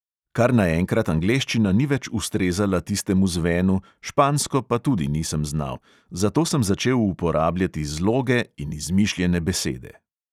Kar naenkrat angleščina ni več ustrezala tistemu zvenu, špansko pa tudi nisem znal, zato sem začel uporabljati zloge in izmišljene besede.